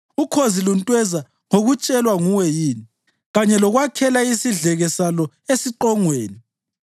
Ukhozi luntweza ngokutshelwa nguwe yini kanye lokwakhela isidleke salo esiqongweni?